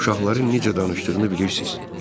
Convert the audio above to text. Uşaqların necə danışdığını bilirsiz.